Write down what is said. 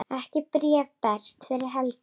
Ekkert bréf berst fyrir helgi.